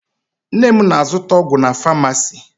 Nne m na-azụta ọgwụ na famasi.